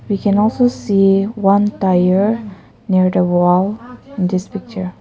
We can also see one tire near the wall in this picture.